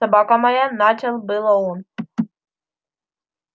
собака моя начал было он